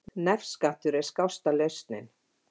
Nefskattur skásta lausnin